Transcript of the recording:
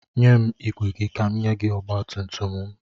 Nye m igwe gị ka m nye gị ọgbatumtum m.